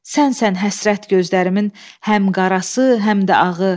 Sənsən həsrət gözlərimin həm qarası, həm də ağı.